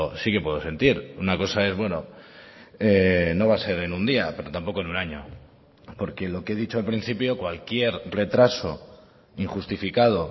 sí que puedo sentir una cosa es bueno no va a ser en un día pero tampoco en un año porque lo que he dicho al principio cualquier retraso injustificado